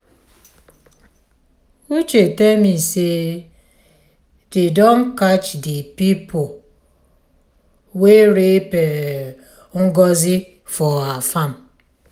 uche tell me say dey don catch the people wey rape um ngozi for her farm.